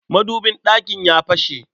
Madubin ɗakin ya fashe.